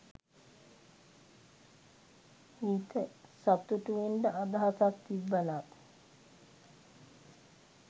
හිත සතු‍ටු වෙන්ඩ අදහසක් තිබ්බනම්